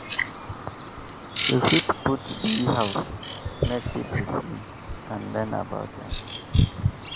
you fit put bee house make people see and learn about am.